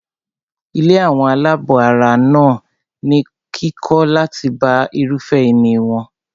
Ilé àwọn àlábọ̀ ara wà ní kíkọ́ láti bá irúfẹ́ ìní wọn.